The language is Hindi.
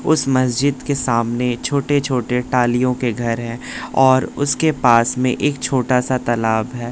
उस मस्जिद के सामने छोटे छोटे टालियों के घर हैं और उसके पास में एक छोटा सा तलाब है।